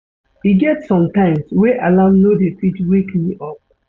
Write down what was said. E get sometimes wey alarm no dey fit wake me up.